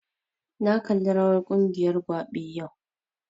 Na kalli rawar ƙungiyar rawar gwabe yau